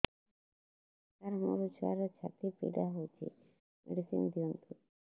ସାର ମୋର ଛୁଆର ଛାତି ପୀଡା ହଉଚି ମେଡିସିନ ଦିଅନ୍ତୁ